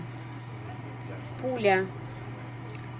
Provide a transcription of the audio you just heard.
пуля